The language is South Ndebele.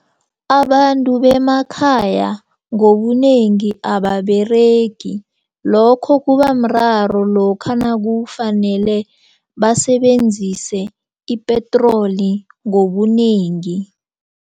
Abantu bemakhaya ngobunengi ababeregi lokho kubamraro lokha nakufanele basebenzise ipetroli ngobunengi.